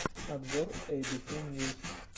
обзор эй би си ньюс